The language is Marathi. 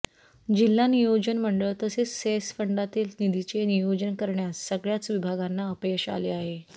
जिल्हा नियोजन मंडळ तसेच सेस फंडातील निधीचे नियोजन करण्यास सगळ्याच विभागांना अपयश आले आहे